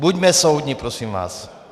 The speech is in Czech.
Buďme soudní, prosím vás.